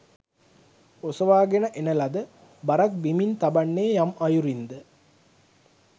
ඔසවාගෙන එන ලද බරක් බිමින් තබන්නේ යම් අයුරින්ද